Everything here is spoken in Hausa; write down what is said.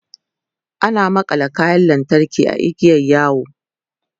ana makalla kayan lantarki a igiyan yawo